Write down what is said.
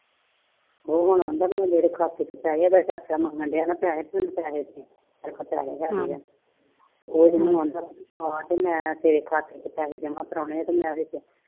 ਉਹ ਹੁਣ ਰੋਂਦਾ ਵੀ ਮੇਰੇ ਖਾਤੇ ਚ ਪੈ ਗਿਆ । ਇਹਦਾ ਚਾਚਾ ਮੰਗਣ ਦੀਆ ਪੈਸੇ। ਤੇ ਉਹ ਰੋਂਦਾ ਪਵਾ ਕੇ ਆਇਆ ਖਾਤੇ ਚ ਤੇ ਮੈਂ ਪੈਸੇ ਜਮਾਂ ਕਰਵਾਉਣੇ ਆ।